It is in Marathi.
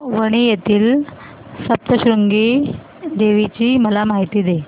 वणी येथील सप्तशृंगी देवी ची मला माहिती दे